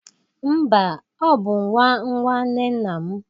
Mba, ọ bụ nwa nwanne nna m.